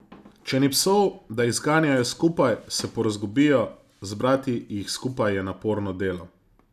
Če ni psov, da jih zganjajo skupaj, se porazgubijo, zbrati jih skupaj je naporno delo.